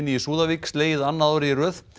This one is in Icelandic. í Súðavík slegið annað árið í röð